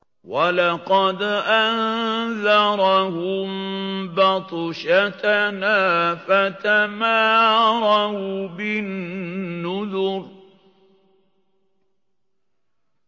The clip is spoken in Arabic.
وَلَقَدْ أَنذَرَهُم بَطْشَتَنَا فَتَمَارَوْا بِالنُّذُرِ